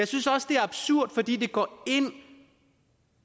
synes også det er absurd fordi det går ind